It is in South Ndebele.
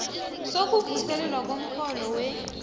sokuvuselelwa komrholo we